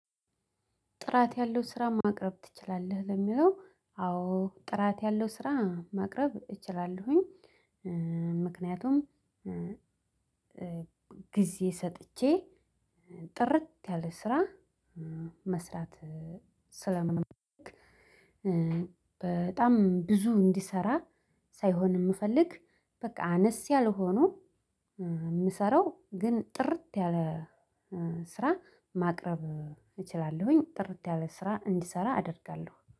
ጥራት ያለው ስራ ማቅረብ ትችላለህ ለሚለው አዎ ጥራት ያለው ስራ ማቅረብ እችላለሁኝ። ምክንያቱም ጊዜ ሰጥቼ ጥርት ያለ ስራ መስራት ስለምንም። በጣም ብዙ እንዲሰራ ሳይሆን የምፈልግ በቃ አነስ ያለ ሆኖ የምሰራው ግን ጥርት ያለ ስራ ማቅረብ እችላለሁኝ። ጥርት ያለ ስራ እንዲሰራ አደርጋለሁ